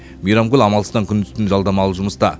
мейрамгүл амалсыздан күндіз түні жалдамалы жұмыста